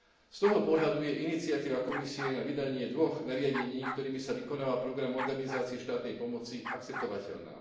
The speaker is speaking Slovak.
Z toho pohľadu je iniciatíva Komisie na vydanie dvoch nariadení, ktorými sa vykonáva program modernizácie štátnej pomoci, akceptovateľná.